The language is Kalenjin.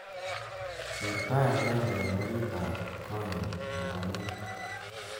Ker tai agenge eng oritab konyu narue